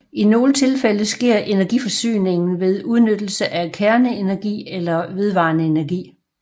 I nogle tilfælde sker energiforsyningen ved udnyttelse af kerneenergi eller vedvarende energi